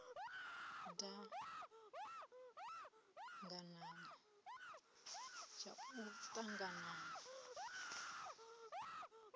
dzhie tshivhonelo tshau d aganana